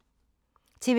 TV 2